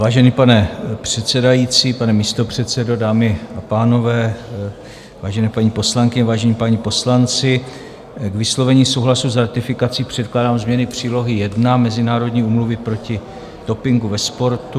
Vážený pane předsedající, pane místopředsedo, dámy a pánové, vážené paní poslankyně, vážení páni poslanci, k vyslovení souhlasu s ratifikací předkládám změny Přílohy I Mezinárodní úmluvy proti dopingu ve sportu.